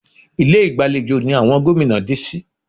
Ilé ìgbàlejò ni àwọn gómìnà dé sí